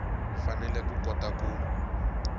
u fanele ku kota ku